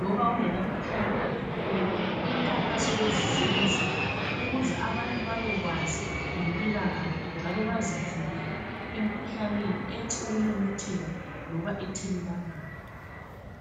Loba kungelamkhuhlane obhahileyo imkhankaso leyi iyenziwa ukuze abantu babekwazi ngempilakahle njalo bazivikele emkhuhlaneni ethi ukumemetheka loba ethelelwanayo.